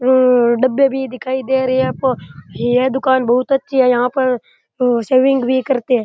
ऊ डब्बे भी दिखाई दे रहे है ये दुकान बहुत अच्छी है यहाँ पर और सेविंग भी करते है।